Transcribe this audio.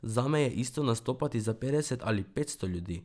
Zame je isto nastopati za petdeset ali petsto ljudi.